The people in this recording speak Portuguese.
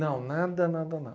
Não, nada, nada, nada.